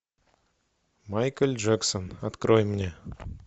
майкл джексон открой мне